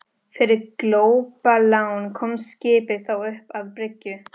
Fyrir glópalán komst skipið þó upp að bryggju.